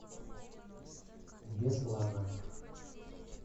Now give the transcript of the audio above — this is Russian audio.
беслана